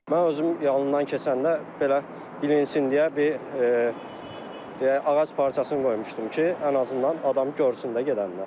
Mən özüm yanımdan keçəndə belə bilinsin deyə bir deyək ağac parçasını qoymuşdum ki, ən azından adam görsün də gedəndə.